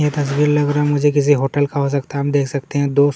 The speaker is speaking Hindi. ये तस्वीर रहा है मुझे किसी होटल का हो सकता हैं हम देख सकते हैं दो--